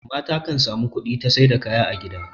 mata kan samu kudi ta Saida kaya a gida